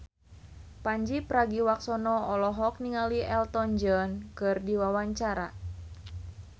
Pandji Pragiwaksono olohok ningali Elton John keur diwawancara